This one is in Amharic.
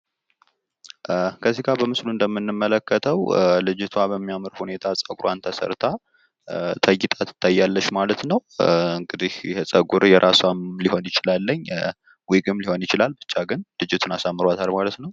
ከዚህ ጋ በምስሉ እንደምንመለከተው ልጅቷ በሚያምር ሁኔታ ፀጉሯን ተሰርታ ተጊጣ ትታያለች ማለት ነው። እንግዲህ ይህ ፀጉር የራሷ ሊሆን ይችላል ብቻ ግን ልጂቱን አሳምሯታል።